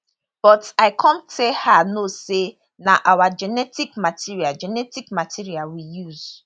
but i come tell her no say na our genetic material genetic material we use